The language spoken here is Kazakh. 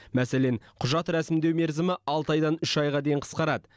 мәселен құжат рәсімдеу мерзімі алты айдан үш айға дейін қысқарады